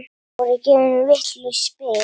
Voru gefin vitlaus spil?